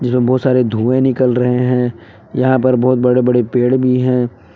बहुत सारे धुएं निकल रहे हैं यहां पर बहुत बड़े बड़े पेड़ भी हैं।